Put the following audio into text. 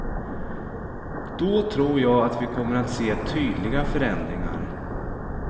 Då tror jag att vi kommer att se tydliga förändringar.